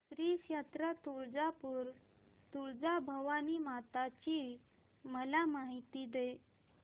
श्री क्षेत्र तुळजापूर तुळजाभवानी माता ची मला माहिती दे